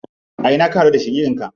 A ina ka haɗu da shaƙiƙin ka?